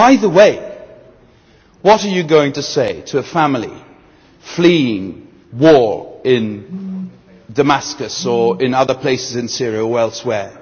By the way, what are you going to say to the family fleeing war in Damascus, or in other places in Syria or elsewhere?